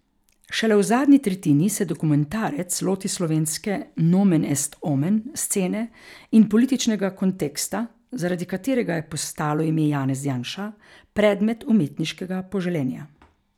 Šele v zadnji tretjini se dokumentarec loti slovenske nomen est omen scene in političnega konteksta, zaradi katerega je postalo ime Janez Janša predmet umetniškega poželenja.